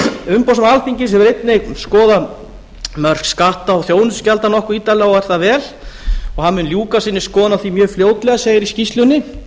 umboðsmaður alþingis hefur einnig skoðað mörk skatta og þjónustugjalda nokkuð ítarlega og er það vel hann mun ljúka sinni skoðun á því mjög fljótlega segir í skýrslunni